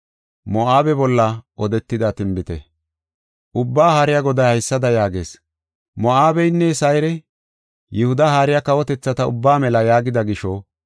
Ubbaa Haariya Goday haysada yaagees: “Moo7abeynne Sayre, ‘Yihudi hara kawotethata ubba mela’ yaagida gisho,